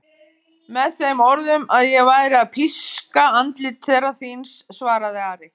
Með þeim orðum að ég væri að píska andlit herra þíns, svaraði Ari.